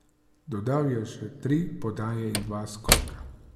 Dodal je še tri podaje in dva skoka.